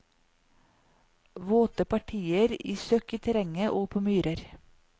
Våte partier i søkk i terrenget og på myrer.